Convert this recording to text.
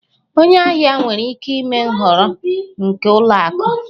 Onye ahịa nwere ikike ime nhọrọ nke ụlọ akụ